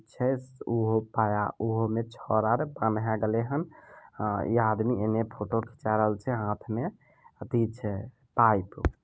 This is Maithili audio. इ आदमी एने फोटो खीचा रहल छे हाथ में अथी छे पाइप--